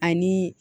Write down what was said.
Ani